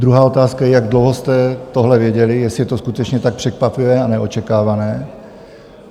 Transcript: Druhá otázka je, jak dlouho jste tohle věděli, jestli je to skutečně tak překvapivé a neočekávané?